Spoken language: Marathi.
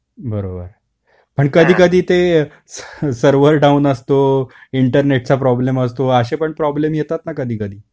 बरोबर ,पण कधी कधी ते सर्वर डाउन असतो इंटरनेटचा प्रोब्लेम असतो, असे पण प्रोब्लेम येतात ना कधी कधी.